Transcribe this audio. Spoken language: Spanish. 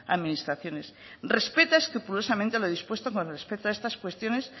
administraciones respeta escrupulosamente lo dispuesto con respecto a estas cuestiones